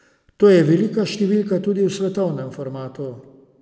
To je velika številka tudi v svetovnem formatu.